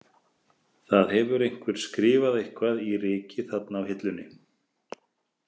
Það hefur einhver skrifað eitthvað í rykið þarna á hillunni.